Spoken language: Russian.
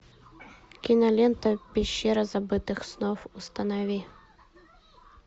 кинолента пещера забытых снов установи